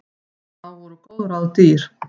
Þá voru góð ráð dýr!